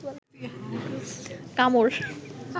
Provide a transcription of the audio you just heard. কামড়